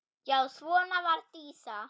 Já svona var Dísa.